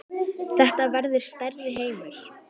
Þetta verður stærri heimur.